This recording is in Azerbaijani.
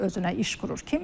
Kimisi özünə iş qurur.